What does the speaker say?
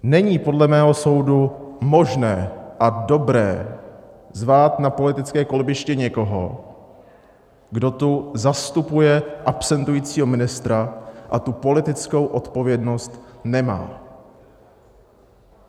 Není podle mého soudu možné a dobré zvát na politické kolbiště někoho, kdo tu zastupuje absentujícího ministra a tu politickou odpovědnost nemá.